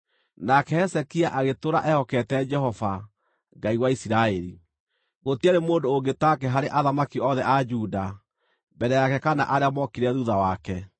Nake Hezekia agĩtũũra ehokete Jehova, Ngai wa Isiraeli. Gũtiarĩ mũndũ ũngĩ take harĩ athamaki othe a Juda, mbere yake kana arĩa mookire thuutha wake.